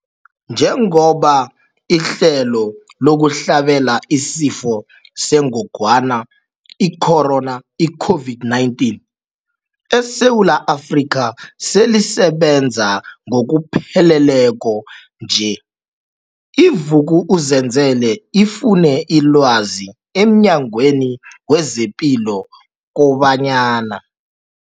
Njengoba ihlelo lokuhlabela isiFo sengogwana i-Corona, i-COVID-19, eSewula Afrika selisebenza ngokupheleleko nje, i-Vuk'uzenzele ifune ilwazi emNyangweni wezePilo kobanyana.